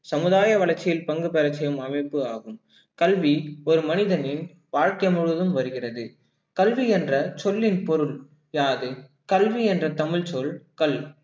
சமுதாய வளர்ச்சியில் பங்குபெறச் செய்யும் அமைப்பு ஆகும் கல்வி ஒரு மனிதனின் வாழ்க்கை முழுவதும் வருகிறது கல்வி என்ற சொல்லின் பொருள் யாது கல்வி என்ற தமிழ்ச்சொல் கல்